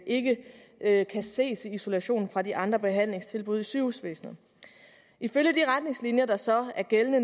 ikke kan ses isoleret fra de andre behandlingstilbud i sygehusvæsenet ifølge de retningslinjer der så er gældende